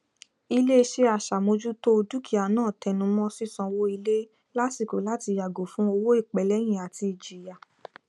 iléiṣẹ aṣàmójútó o dúkìá náà tẹnumọ sísanwó ilé lásìkò láti yàgò fún owó ìpẹlẹyìn àti ìjìyà